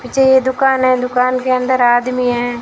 जे दुकान है दुकान के अंदर आदमी हैं।